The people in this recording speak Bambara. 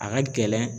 A ka gɛlɛn